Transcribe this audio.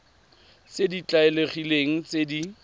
tse di tlwaelegileng tse di